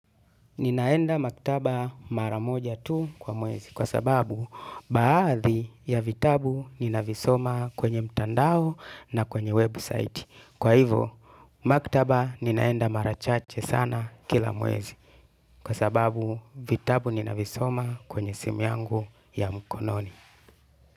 Ninaenda maktaba mara moja tu kwa mwezi kwa sababu baadhi ya vitabu ninavisoma kwenye mtandao na kwenye website. Kwa hivo, maktaba ninaenda mara chache sana kila mwezi kwa sababu vitabu ninavisoma kwenye simu yangu ya mkononi.